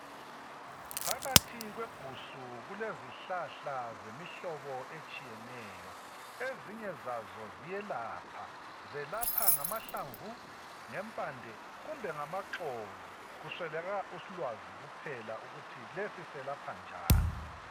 phakathi kwegusu kulezihlahla zemihlobo etshiyeneyo ezinye zazo ziyelapha zelapha ngamahlamvu, ngempande, kumbe ngamaxolo kuswelakala ulwazi kuphela ukuthi lesi selapha njani